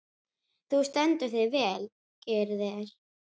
Þú stendur þig vel, Gyrðir!